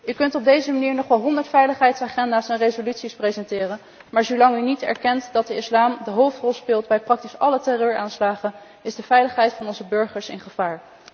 Je kunt op deze manier nog wel honderd veiligheidsagenda's en resoluties presenteren, maar zolang je niet erkent dat de islam de hoofdrol speelt bij praktisch alle terreuraanslagen, is de veiligheid van onze burgers in gevaar.